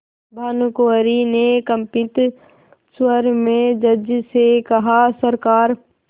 भानुकुँवरि ने कंपित स्वर में जज से कहासरकार